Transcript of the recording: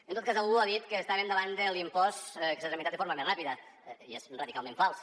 en tot cas algú ha dit que estàvem davant de l’impost que s’ha tramitat de forma més ràpida i és radicalment fals